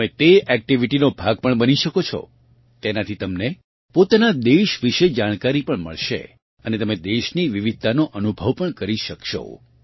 તમે તે એક્ટિવિટીનો ભાગ પણ બની શકો છો તેનાથી તમને પોતાના દેશ વિશે જાણકારી પણ મળશે અને તમે દેશની વિવિધતાનો અનુભવ પણ કરી શકશો